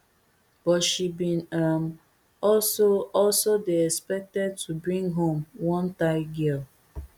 but she bin um also also dey expected to bring home one thai girl